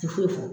Ti foyi fɔ